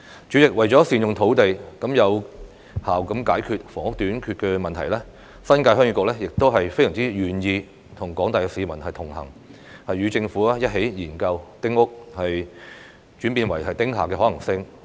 主席，為了善用土地，有效解決房屋短缺問題，新界鄉議局非常願意與廣大市民同行，與政府一起研究丁屋轉變為"丁廈"的可行性。